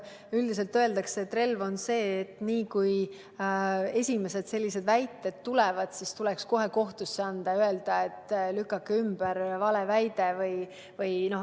Üldiselt öeldakse, et relv on see, et niipea, kui esimesed sellised väited esitatakse, tuleks kohtusse anda ja öelda, et lükake valeväide ümber.